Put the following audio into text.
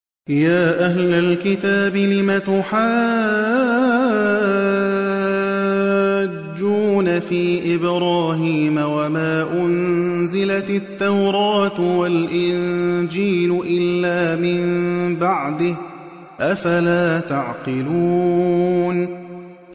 يَا أَهْلَ الْكِتَابِ لِمَ تُحَاجُّونَ فِي إِبْرَاهِيمَ وَمَا أُنزِلَتِ التَّوْرَاةُ وَالْإِنجِيلُ إِلَّا مِن بَعْدِهِ ۚ أَفَلَا تَعْقِلُونَ